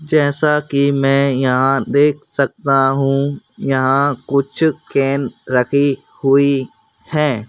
जैसा कि मैं यहां देख सकता हूं यहां कुछ केन रखी हुई है।